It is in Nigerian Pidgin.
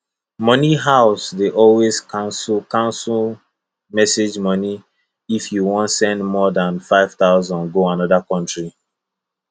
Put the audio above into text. money house dey always cancel cancel message money if you wan send more than 5000 go another country